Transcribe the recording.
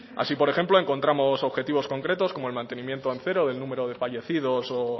así por ejemplo encontramos objetivos concretos como el mantenimiento al cero del número de fallecidos